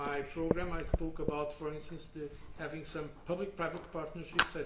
In my programme, I spoke, for instance, about having some public private partnerships